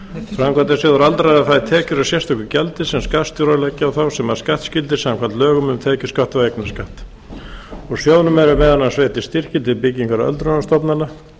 framkvæmdasjóður aldraðra fær tekjur af sérstöku gjaldi sem skattstjórar leggja á þá eru skattskyldir samkvæmt lögum um tekjuskatt og eignarskatt úr sjóðnum eru meðal annars veittir styrkir til byggingar öldrunarstofnana